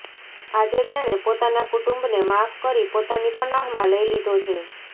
આજે તેણે પોતાના કુટુંબને માફ કરી પોતાની પનાહમાં લઈ લીધો છે